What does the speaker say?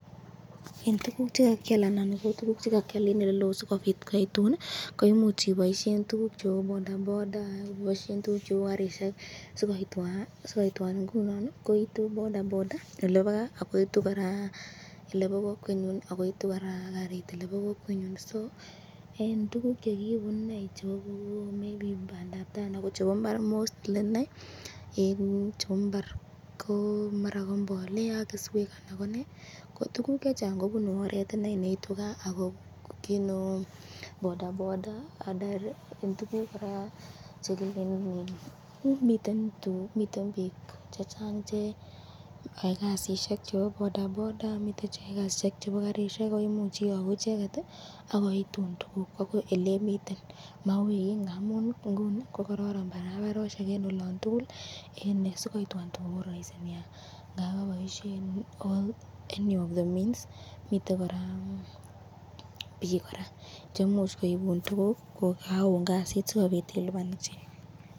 Eng tukul chekakyal anan tukuk chekakyal eng elelo ,sikobit koituni koimuch iboisten tukuk cheu bodaboda tukuk cheu garishek sikoitwan ingunon ii koitu bodaboda ak garit,